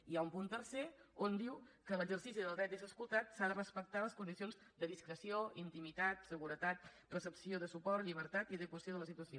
i hi ha un punt tercer on diu que en l’exercici del dret d’ésser escoltat s’ha de respectar les condicions de discreció intimitat seguretat recepció de suport llibertat i adequació de la situació